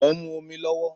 Mo ń mu omi lówó